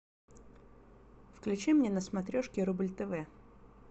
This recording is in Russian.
включи мне на смотрешке рубль тв